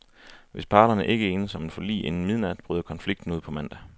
Hvis parterne ikke enes om et forlig inden midnat, bryder konflikten ud på mandag.